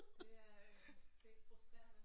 Det er øh det frustrerende